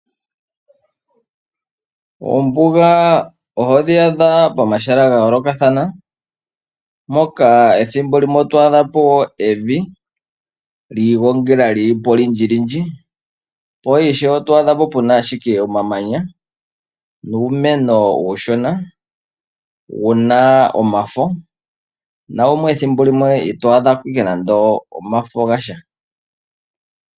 Oombuga oho dhi adha pomahala ga yoolokathana, moka ethimbo limwe oto a dha po evi lyi igongela lyi li po lyi olindji lindji. Po ishewe oto a dha po pu na ashike omamanya nuumeno uushona wu na omafo nawumwe ethimbo limwe ka wu na omafo.